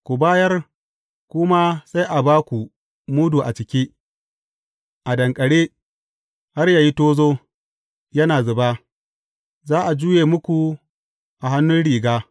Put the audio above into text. Ku bayar, ku ma sai a ba ku mudu a cike, a danƙare, har yă yi tozo, yana zuba, za a juye muku a hannun riga.